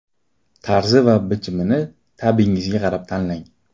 Tarzi va bichimini ta’bingizga qarab tanlang.